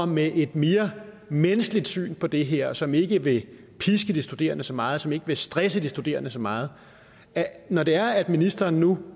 med et mere menneskeligt syn på det her og som ikke vil piske de studerende så meget og som ikke vil stresse de studerende så meget når det er at ministeren nu